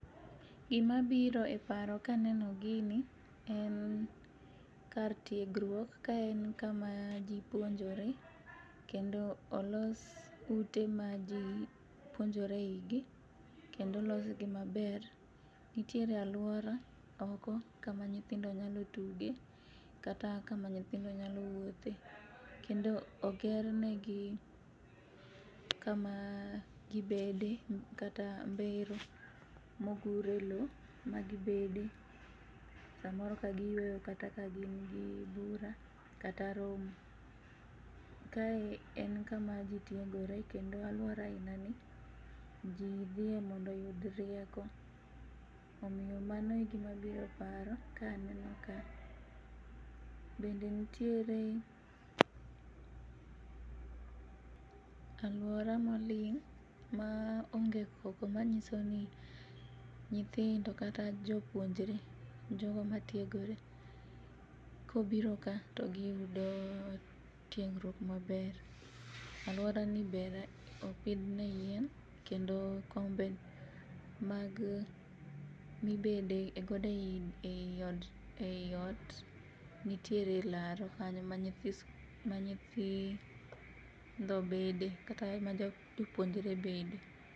Gimabiro e paro kaneno gini en kar tiegruok ka en kama jii puonjore kendo olos ute ma jii puonjore eigi kendo olosgi maber. Nitiere aluora oko kama nyithindo nyalo tuge kata kama nyithindo nyalo wuothe kendo ogernegi kama gibede kata mbero mogure loo magibede samoro kagiyueyo kata ka gingi bura kata romo. Kae en kama jii tiegore kendo aluora ainani jii dhiye mondo oyud rieko. Omiyo mano e gima biro e paro kaneno ka. Bende nitiere aluora moling' maonge koko manyisoni nyithindo kata jopuonjre jogo matiegore kobiro ka to giyudo tiegruok maber. Aluorani bende opidhne yien kendo kombe mag mibede e godo ei ot nitiere laro kanyo ma nyithi nyithindo bede kata majopuonjre bede.